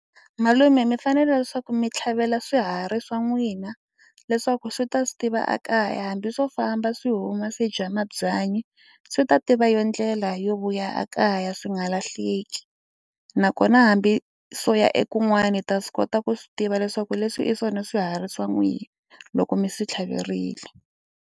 Malume mi fanele leswaku mi tlhavela swiharhi swa n'wina leswaku swi ta swi tiva ekaya hambi swo famba swi huma swi dya mabyanyi swi ta tiva yo ndlela yo u ya kaya swi nga lahleki nakona hambi swo ya ekun'wana hi ta swi kota ku swi tiva leswaku leswi i swona swi herisiwa n'wina loko mi swi tlhaverile.